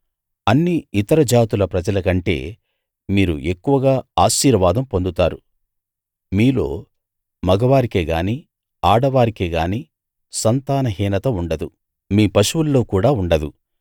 అన్ని ఇతర జాతుల ప్రజలకంటే మీరు ఎక్కువగా ఆశీర్వాదం పొందుతారు మీలో మగవారికే గాని ఆడవారికే గాని సంతాన హీనత ఉండదు మీ పశువుల్లో కూడా ఉండదు